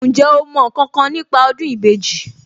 Ǹjẹ́ o mọ ǹkankan nípa ọdún ìbejì